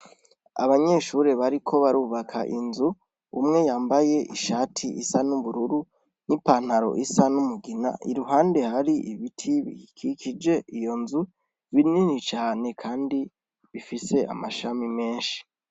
Abanyeshuri bariko barubaka inzu umwe yambaye ishati isa n'ubururu n'ipantaro isa n'umugina i ruhande hari ibiti bikikije iyo nzu binini cane, kandi bifise amashami menshi.